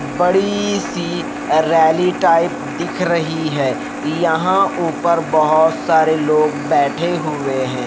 बड़ी सी rally type दिख रही है यहां ऊपर बहोत सारे लोग बैठे हुए हैं।